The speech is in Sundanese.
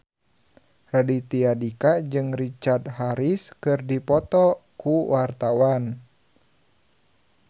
Raditya Dika jeung Richard Harris keur dipoto ku wartawan